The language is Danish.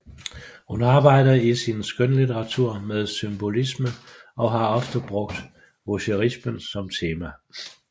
Hun arbejder i sin skønlitteratur med symbolisme og har ofte brugte voyerismen som tema